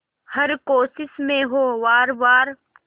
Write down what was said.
हर कोशिश में हो वार वार